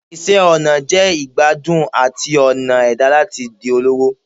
Iṣẹ ọna jẹ igbadun ati ọna ẹda lati sọ lọwọ